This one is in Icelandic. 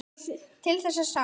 Til þess er sáð.